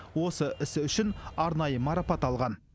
осы ісі үшін арнайы марапат алған